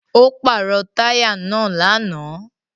Ó pàrọ̀ táyà náà lánàá.